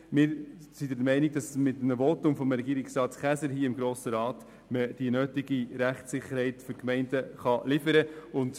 Mit einem Votum des Polizeidirektors hier im Grossen Rat kann die nötige Rechtssicherheit für die Gemeinden geliefert werden.